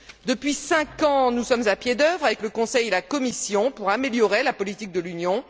Depuis cinq ans, nous sommes à pied d'œuvre, avec le Conseil et la Commission, pour améliorer la politique de l'Union.